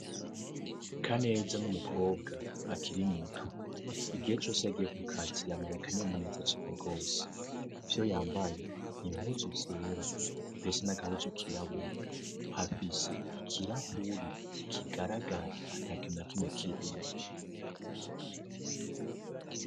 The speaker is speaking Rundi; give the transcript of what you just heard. Kaneza n'umukobwa akiri muto, igihe cose agiye ku kazi yamana akanyamuneza cane gose, ivyo yambaye n'impuzu zera ndetse n'agahuzu kirabura, afise ikirahuri kigaragara ata kintu na kimwe kirimwo.